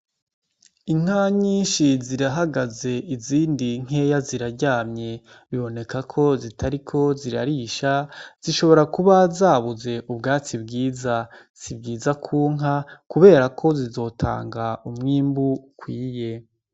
Inka nyinshi zirahagaze izindi nkeya ziraryamye biboneka ko zitariko zirarisha zishobora kuba zabuze ubwatsi bwiza sibwiza kunka, kubera ko zizotanga umwimbu kwiye.